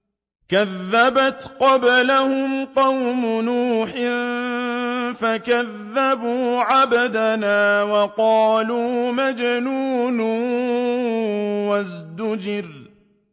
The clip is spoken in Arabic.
۞ كَذَّبَتْ قَبْلَهُمْ قَوْمُ نُوحٍ فَكَذَّبُوا عَبْدَنَا وَقَالُوا مَجْنُونٌ وَازْدُجِرَ